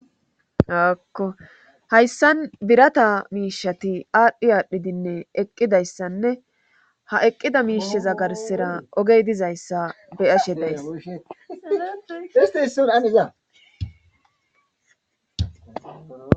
Akkohayssan birata miishati aadhdhi aadhdhidinne eqqidayssanne ha eqqida miisheza garsera ogey dizayssa beyashe days istiionaniza